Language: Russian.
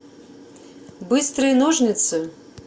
быстрые ножницы